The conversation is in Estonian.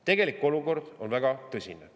Tegelik olukord on väga tõsine.